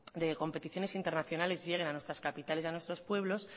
de competiciones internacionales lleguen a nuestras capitales y a nuestros pueblos